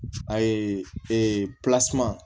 A ye ee